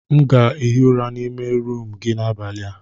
M ga-ehi ụra n'ime rumụ gị n'abalị a.